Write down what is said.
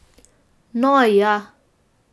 No ja!